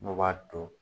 N'o b'a to